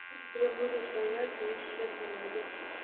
я буду твоя таисия повалий